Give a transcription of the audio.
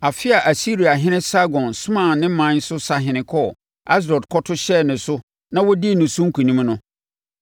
Afe a Asiriahene Sargon somaa ne ɔman no sahene kɔɔ Asdod kɔto hyɛɛ no so na ɔdii ne so nkonim no,